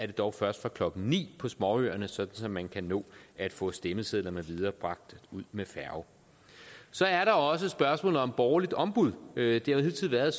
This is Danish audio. dog først fra klokken ni på småøerne sådan at man kan nå at få stemmesedlerne bragt ud med færge så er der også spørgsmålet om borgerligt ombud det har hidtil været